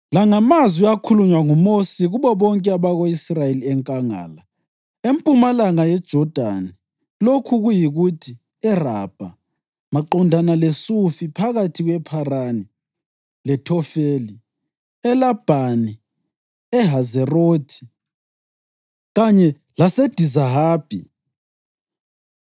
La ngamazwi akhulunywa nguMosi kubo bonke abako-Israyeli enkangala, empumalanga yeJodani, lokhu kuyikuthi, e-Arabha, maqondana leSufi, phakathi kwePharani leThofeli, eLabhani, eHazerothi kanye laseDizahabi.